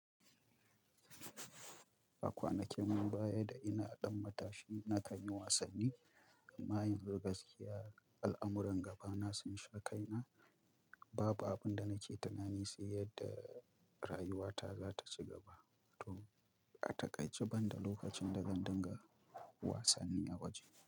A kwanakin baya da ina ɗan matashi na kan yi wasanni, amma yanzu gaskiya al'amuran gaba na sun sha kaina. Babu abin da nake tunani sai yadda rayuwata za ta ci gaba to a takaice, banda lokacin da zan dinga wasanni a waje.